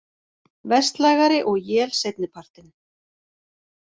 Vestlægari og él seinni partinn